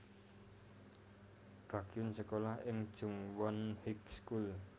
Baekhyun sékolah ing Jungwon High School